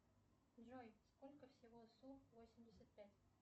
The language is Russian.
джой сколько всего су восемьдесят пять